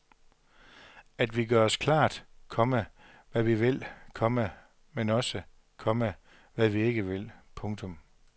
At vi gør os klart, komma hvad vi vil, komma men også, komma hvad vi ikke vil. punktum